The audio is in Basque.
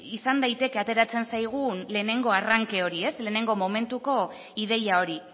izan daiteke ateratzen zaigun lehenengo arranke hori lehenengo momentuko ideia hori